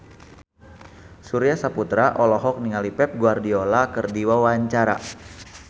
Surya Saputra olohok ningali Pep Guardiola keur diwawancara